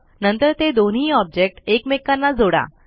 नंतर ते दोन्ही ऑब्जेक्ट एकमेकांना जोडा